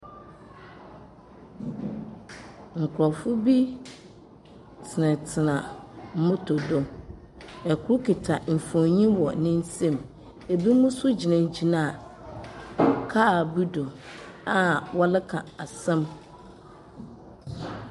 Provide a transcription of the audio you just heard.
Nkurɔfoɔ bi tsenatsena moto do. Kor kita mfonin wɔ ne nsam. Ebinom nso gyinagyina kaar bi do a wɔreka asɛm.